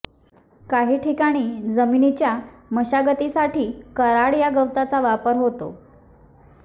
काही ठिकाणी जमिनीच्या मशागतीसाठी कराड या गवताचा वापर होतो